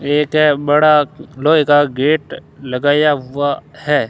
एक बड़ा लोहे का गेट लगाया हुआ है।